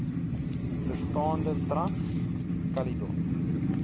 bestaande trans caledon